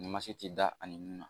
ti da ani nun na